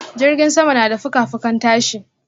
jirgin sama na da fuka-fukan tashi.